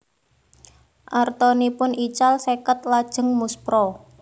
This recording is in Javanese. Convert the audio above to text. Artanipun ical seket lajeng muspra